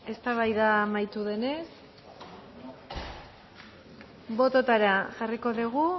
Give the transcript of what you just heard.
etztabaida amaitu denez bototara jarriko dugu